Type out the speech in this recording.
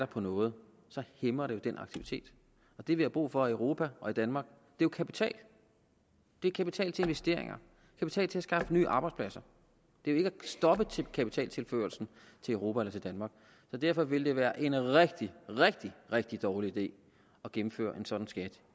på noget hæmmer det jo den aktivitet det vi har brug for i europa og danmark er kapital det er kapital til investeringer kapital til at skaffe nye arbejdspladser det er ikke at stoppe kapitaltilførslen til europa eller danmark derfor ville det være en rigtig rigtig rigtig dårlig idé at indføre en sådan skat